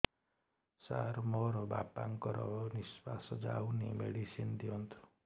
ସାର ମୋର ବାପା ଙ୍କର ନିଃଶ୍ବାସ ଯାଉନି ମେଡିସିନ ଦିଅନ୍ତୁ